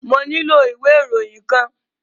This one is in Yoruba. Mo nílò ìwé ìròyìn kan.